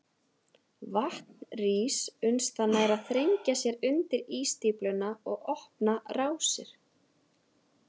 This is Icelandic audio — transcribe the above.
Vatn rís uns það nær að þrengja sér undir ísstífluna og opna rásir.